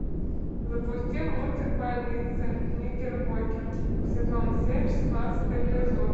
запусти мультик больница никербокер сезон семь шестнадцатый эпизод